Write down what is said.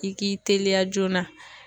I k'i teliya joona